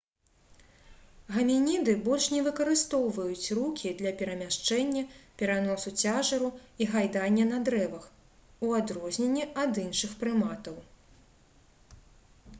гамініды больш не выкарыстоўваюць рукі для перамяшчэння пераносу цяжару і гайдання на дрэвах у адрозненні ад іншых прыматаў